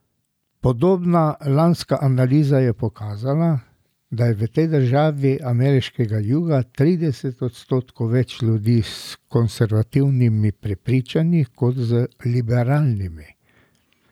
Podobna lanska analiza je pokazala, da je v tej državi ameriškega juga trideset odstotkov več ljudi s konservativnimi prepričanji kot z liberalnimi.